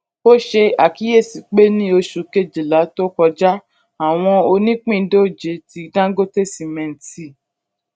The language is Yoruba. o ṣe akiyesi pe ni oṣu kejila ọdun to kọja awọn onipindoje ti dangote cement ti